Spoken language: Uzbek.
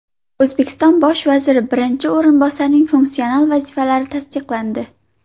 O‘zbekiston bosh vazir birinchi o‘rinbosarining funksional vazifalari tasdiqlandi.